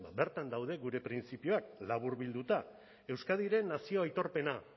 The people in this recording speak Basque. bertan daude gure printzipioak laburbilduta euskadiren nazio aitorpena